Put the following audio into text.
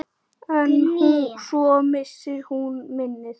En svo missir hún minnið.